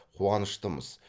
қуаныштымыз